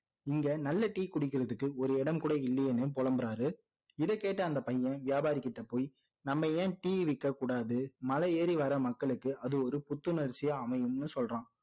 இங்க நல்ல tea குடிக்கிறதுக்கு ஒரு இடம் கூட இல்லையேன்னு புலம்புறாரு இதை கேட்ட அந்த பையன் வியாபாரி கிட்ட போய் நம்ம என் tea விற்க கூடாது மலை ஏறி வர்ற மக்களுக்கு அது ஒரு புத்துணர்ச்சியா அமையும்னு சொல்றான்